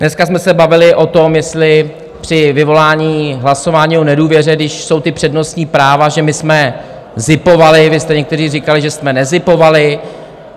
Dneska jsme se bavili o tom, jestli při vyvolání hlasování o nedůvěře, když jsou ta přednostní práva, že my jsme zipovali, vy jste někteří říkali, že jsme nezipovali.